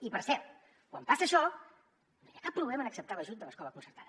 i per cert quan passa això no hi ha cap problema en acceptar l’ajut de l’escola concertada